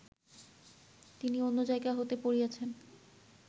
তিনি অন্য জায়গা হইতে পড়িয়াছেন